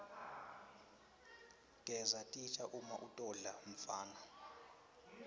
gesa titja uma utodla mfana